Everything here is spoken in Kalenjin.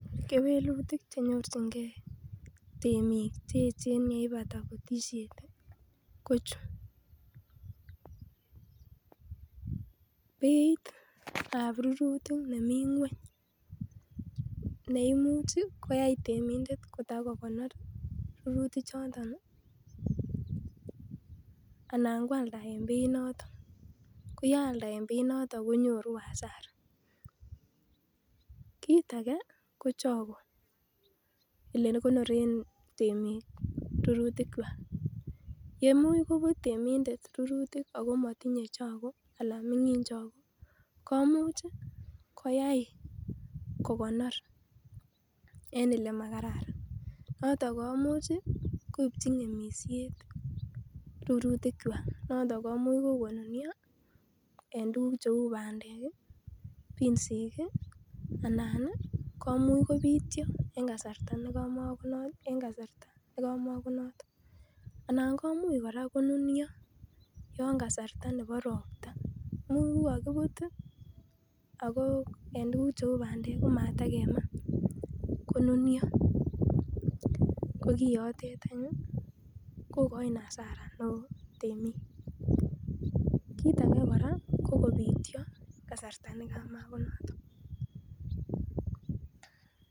kewelutik chenyorchingee temiik cheechen yeipata butisheet ko chu, beiit ab rurutik nemii ngweny neimuch iih koyaai temindet kotagogonoor rurutik choton iih anan kwalda en beit noton ko yealda en beit noton konyoru hasara, kiit age ko chago olegonoreen temiik rurutik kwaak, emuch kobuut temindet rurutik ago motinye chago anan mingin chago, komuuch iih koyaai kogonoor en elemagararan noton komuuch koibchi ngemisyeet rurutik kwaak noton komuuch konunyo en tuguuk cheuu bandeek iih binsiiik iih anan iih komuch kobityo en kasarta negamogonoton, anan komuch koraa konunyo en yon kasarta nebo ropta imuch kogagibuut iih en tuguk cheuu bandeek komatagemaa konunyo kogiyoteet any kogoin hasara temiik, kiit age kora ko kobityo en kasarta negamagonoton.